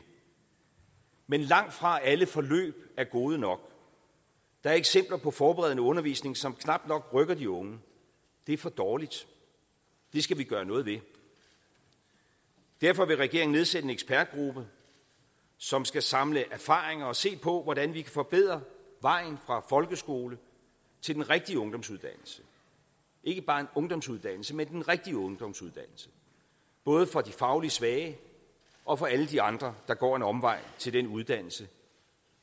men langtfra alle forløb er gode nok der er eksempler på forberedende undervisning som knap nok rykker de unge det er for dårligt det skal vi gøre noget ved derfor vil regeringen nedsætte en ekspertgruppe som skal samle erfaringer og se på hvordan vi kan forbedre vejen fra folkeskole til den rigtige ungdomsuddannelse ikke bare en ungdomsuddannelse men den rigtige ungdomsuddannelse både for de fagligt svage og for alle de andre der går en omvej til den uddannelse